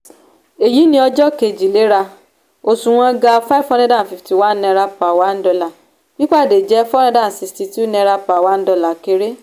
èyí ni ọjọ́ kejì léra òṣùwọ̀n ga five hundred fifty one naira per one dollar pípàdé jẹ four hundred sixty two naira per one kéré.